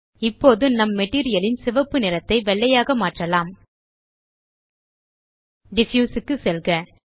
இப்போது நம் மெட்டீரியல் ன் சிவப்பு நிறத்தை வெள்ளையாக மாற்றலாம் டிஃப்யூஸ் க்கு செல்க